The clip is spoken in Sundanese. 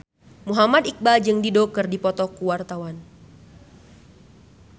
Muhammad Iqbal jeung Dido keur dipoto ku wartawan